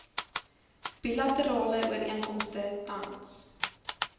bilaterale ooreenkomste tans